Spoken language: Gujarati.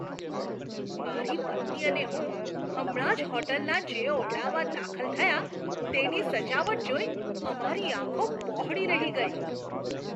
મારી પત્ની અને હું હમણાં જ હોટલના જે ઓરડામાં દાખલ થયાં, તેની સજાવટ જોઈ અમારી આંખો પહોળી રહી ગઈ.